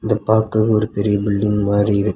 இத பாக்க ஒரு பெரிய பில்டிங் மாரி இருக்--